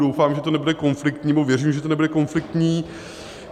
Doufám, že to nebude konfliktní, nebo věřím, že to nebude konfliktní.